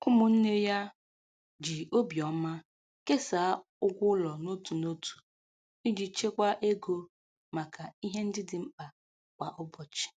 Ụmụnne ya ji obiọma kesaa ụgwọ ụlọ n'otu n'otu iji chekwaa ego maka ihe ndị dị mkpa kwa ụbọchị.